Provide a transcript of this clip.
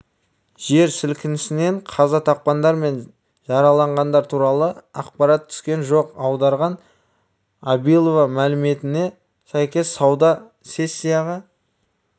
жер сілкінісінен қаза тапқандар мен жараланғандар туралы ақпарат түскен жоқ аударған абилова мәліметіне сәйкес сауда сессиясы